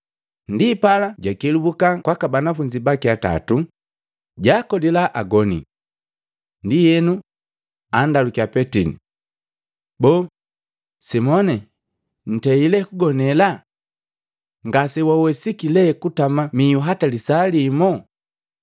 Ndipala jakelubuka kwaka banafunzi baki atatu, jakolila agoni. Ndienu, andalukiya Petili, “Boo, Simoni, ntei lee kugonela? Ngasewawesiki lee kutama mihu hata lisaa limo?”